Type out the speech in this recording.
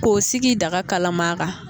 K'o sigi daga kalama